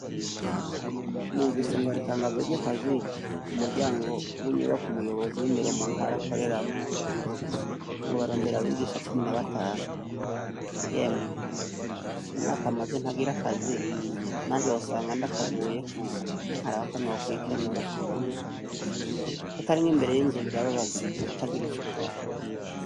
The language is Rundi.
Numvise ngo haritangazo ry'akazi ku muryango w'inyubaka umuyobozi w'indero mu ntarakoreramwo ngo barondera abigisha cumi na batanu yemwe imyaka amaze ntagira akazi nanje wosanga nd akaguyeko nkari abakonwewa kwikenura kutarimwee mbere yoinzuba irababaza utagira ico ukora.